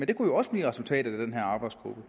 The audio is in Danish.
det kunne jo også blive resultatet af den her arbejdsgruppes